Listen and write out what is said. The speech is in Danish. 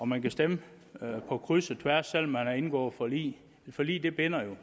man kan stemme på kryds og tværs selv om man har indgået forlig forlig binder